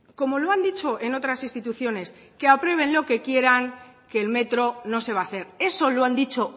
como lo han dicho en otras instituciones que aprueben lo que quieran que el metro no se va a hacer eso lo han dicho